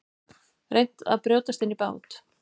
Reynt að brjótast inn í bát